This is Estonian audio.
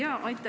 Aitäh!